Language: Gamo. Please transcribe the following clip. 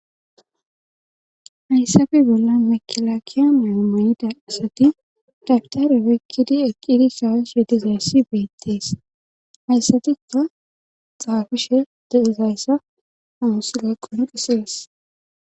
Hssafe bolla mekilaakiya meomayida asati datarepekkidi eqqiidi sawas sedizayssi beettees hayssatikka xaafishe deizayssa hamusloqonu qisees.